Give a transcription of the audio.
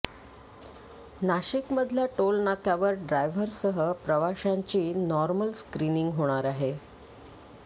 नाशिकमधल्या टोलनाक्यावर ड्रायव्हरसह प्रवाशांची नॉर्मल स्क्रिनिंग होणार आहे